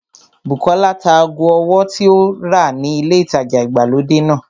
Bùkọ́lá ta ago ọwọ́ tí ó rà ni ilé ìtajà ìgbàlódé náà